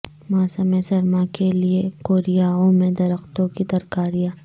موسم سرما کے لئے کوریائیوں میں درختوں کی ترکاریاں